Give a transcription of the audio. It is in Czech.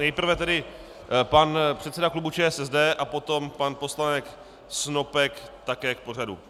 Nejprve tedy pan předseda klubu ČSSD a potom pan poslanec Snopek také k pořadu.